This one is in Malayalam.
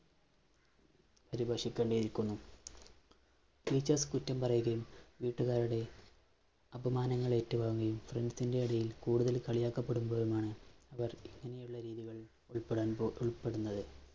teachers കുറ്റം പറയുകയും, വീട്ടുകാരുടെ അപമാനങ്ങളേറ്റു വാങ്ങുകയും friends ന്‍റെ ഇടയില്‍ കൂടുതല്‍ കളിയാക്കപ്പെടുമ്പോഴുമാണ് ഇവര്‍ ഇങ്ങനെയുള്ള രീതികളില്‍ ഉള്‍പ്പെടാന്‍ പോ ഉള്‍പ്പെടുന്നത്.